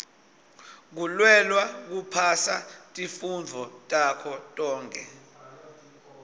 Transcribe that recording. kulwela kuphasa tifundvo takho tonkhe